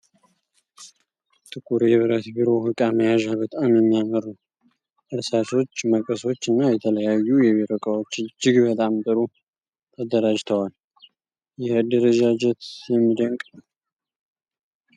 ጥቁር የብረት ቢሮ ዕቃ መያዣ በጣም የሚያምር ነው። እርሳሶች፣ መቀሶች እና የተለያዩ የቢሮ እቃዎች እጅግ በጣም ጥሩ ተደራጅተዋል። ይህ አደረጃጀት የሚደንቅ ነው።